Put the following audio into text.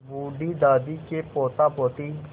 बूढ़ी दादी के पोतापोती